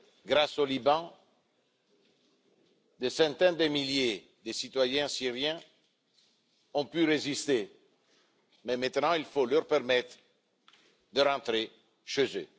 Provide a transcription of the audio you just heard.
Grâce au Liban, des centaines de milliers de citoyens syriens ont pu résister, mais il faut maintenant leur permettre de rentrer chez eux.